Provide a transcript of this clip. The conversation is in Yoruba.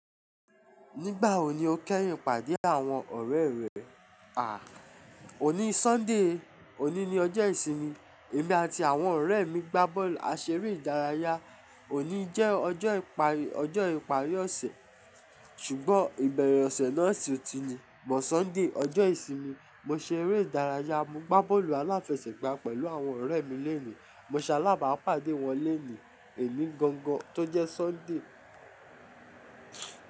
Nígbà wo ni o kẹ́rùn ìpàdé àwọn ọ̀rẹ́ rẹ? À, òní Sunday, òní ni ọjọ́ ìsinmi, èmi àti àwọn ọ̀rẹ́ mi gbá bọ́ọ̀lù, a ṣe eré ìdárayá. Òní jẹ́ ọjọ́ ìparí, ọjọ́ ìparí ọ̀sẹ̀. Ṣùgbọ́n ìbẹ̀rẹ̀ ọ̀sẹ̀ náà sì ò tí ì ni. Bo Sunday, ọjọ́ ìsinmi, mo ṣe eré ìdárayá, mo gbá bọ́ọ̀lù aláfẹsẹ̀gbá pẹ̀lú àwọn ọ̀rẹ́ mi léèní, mo ṣe alágbàápàdé wọn léèní, èni gan gan tó jẹ́ Sunday.